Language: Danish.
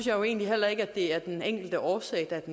jo egentlig heller ikke at det er den enkelte årsag der er